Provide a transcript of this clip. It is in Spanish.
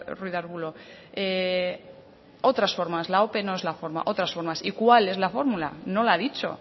ruiz de arbulo de otras formas la ope no es la forma otras fórmulas y cuál es la fórmula no la ha dicho